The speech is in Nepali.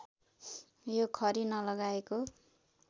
यो खरी नलगाएको